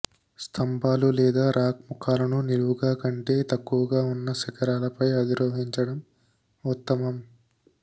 స్తంభాలు లేదా రాక్ ముఖాలను నిలువుగా కంటే తక్కువగా ఉన్న శిఖరాలపై అధిరోహించడం ఉత్తమం